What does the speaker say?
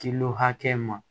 hakɛ ma